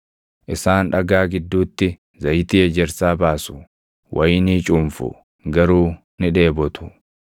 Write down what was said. Isaan dhagaa gidduutti zayitii ejersaa baasu; wayinii cuunfu; garuu ni dheebotu.